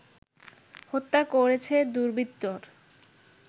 হত্যা করেছে দুর্বৃত্তর